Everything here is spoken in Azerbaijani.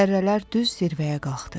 Zərrələr düz zirvəyə qalxdı.